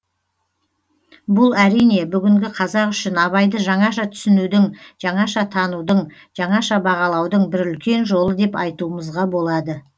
бұл әрине бүгінгі қазақ үшін абайды жаңаша түсінудің жаңаша танудың жаңаша бағалаудың бір үлкен жолы деп айтуымызға болады